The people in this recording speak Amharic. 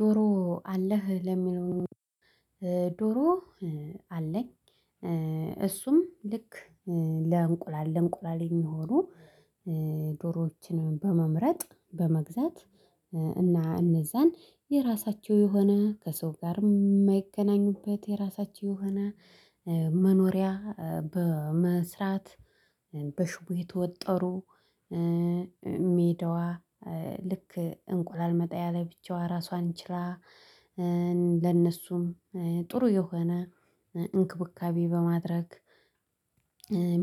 ዶሮ አለህ? ለሚለው ዶሮ አለኝ እሱም ልክ ለእንቁላል ለእንቁላል የሚሆኑ ዶሮዎችን በመምረጥ በመግዛት እና እነዛን የራሳችው የሆነ ከሰው ጋር የማይገናኙበት የራሳችን የሆነ መኖሪያ በመስራት በሽቦ የተወጠሩ ሜዳዋ ልክ እንቁላል መጣያ ላይ ብቻዋን ራሷን ችላ ለነሱም ጥሩ የሆነ እንክብካቤ በማድረግ